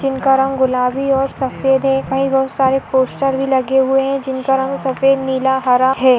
जिनका रंग गुलाबी और सफेद है वही बहुत सारे पोस्टर भी लगे हुए है जिनका रंग सफेद नीला हरा है।